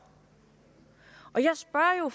på